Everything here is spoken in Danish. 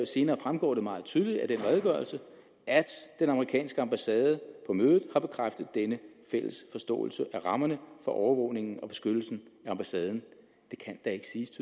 senere fremgår det meget tydeligt af redegørelsen at den amerikanske ambassade på mødet har bekræftet denne fælles forståelse af rammerne for overvågningen og beskyttelsen af ambassaden det kan da ikke siges